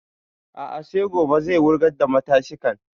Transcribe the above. A'a sai gobe zai wurgar da matashin kan